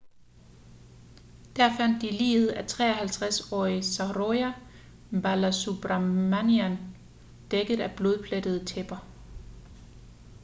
der fandt de liget af 53-årige saroja balasubramanian dækket af blodplettede tæpper